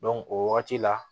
o wagati la